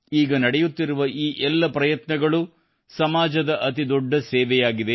ಈಗ ನಡೆಯುತ್ತಿರುವ ಈ ಎಲ್ಲ ಪ್ರಯತ್ನಗಳು ಸಮಾಜದ ಅತಿ ದೊಡ್ಡ ಸೇವೆಯಾಗಿದೆ